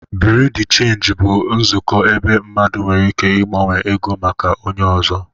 Bureau de Change bụ nzukọ ebe mmadụ nwere ike ịgbanwe ego maka onye ọzọ